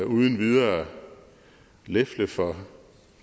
uden videre lefle for